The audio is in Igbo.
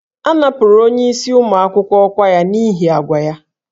A napụrụ onyeisi ụmụ akwụkwọ ọkwa ya n'ihi àgwà ya